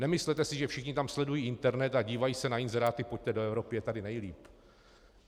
Nemyslete si, že všichni tam sledují internet a dívají se na inzeráty - pojďte do Evropy, je tady nejlíp.